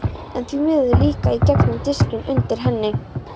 En því miður líka í gegnum diskinn undir henni.